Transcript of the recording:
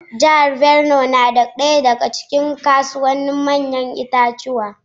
Jihar Binuwai na daya daga cikin manyan kasuwannin ‘ya’yan itatuwa.